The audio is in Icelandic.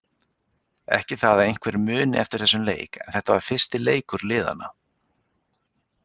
Ekki það að einhver muni eftir þessum leik en þetta var fyrsti leikur liðanna.